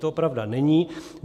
To pravda není.